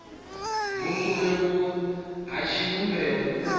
vhukule vhuyo ha tshivhumbeo u